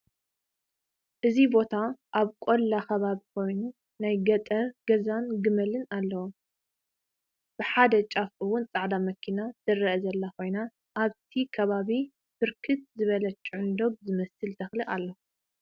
እዚ ቦታ አብ ቆላ ከባቢ ኮይኑ ናይ ገጠር ገዛን ግመልን አለዉ፡፡ ብሓደ ጫፍ እውን ፃዕዳ መኪና ትረአ ዘላ ኮይና አብቲ ከባቢ ብርክት ዝበለ ጭዕንዶግ ዝመስል ተክሊ አሎ፡፡